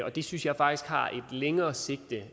det synes jeg faktisk har et længere sigte